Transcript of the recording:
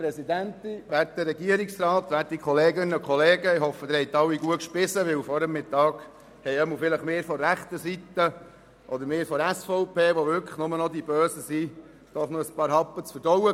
Vielleicht hatten wir von der rechten Seite oder von der SVP, die wir wirklich nur noch die Bösen sind, vor der Mittagspause einige Happen zu verdauen.